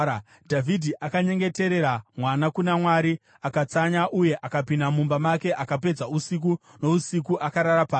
Dhavhidhi akanyengeterera mwana kuna Mwari. Akatsanya uye akapinda mumba make akapedza usiku nousiku akarara pasi.